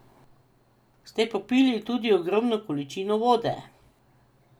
Ste popili tudi ogromne količine vode?